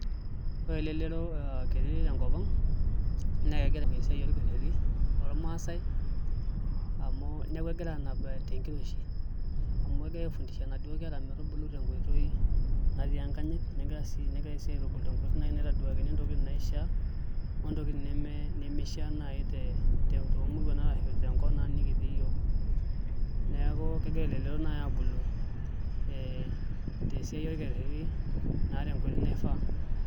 Ore elelero ee kiti tenkopang naa kegira eyim esiae olkeretti lomaasae amu neeku egira aanap tenkiroshi amu egirae aifundisha naduo kera metubulu tenkoitoi natii enkanyit negira negirae sii atubulu tenkoitoi naitaduakini ntokini naishia intokitin nai nimishaa nai tomurua arashu tenkop naa nikitii yiok neeku kegira elelero aabulu ee tesiae orkereti naa tenkoitoi naifa.